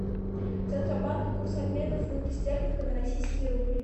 центробанк курс обмена фунта стерлинга на российский рубль